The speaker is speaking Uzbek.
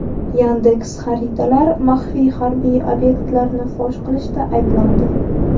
"Yandeks.Xaritalar" maxfiy harbiy obyektlarni fosh qilishda ayblandi.